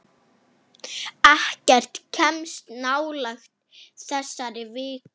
Ekkert kemst nálægt þessari viku.